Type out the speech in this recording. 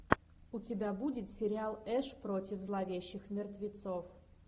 у тебя будет сериал эш против зловещих мертвецов